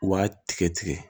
U b'a tigɛ tigɛ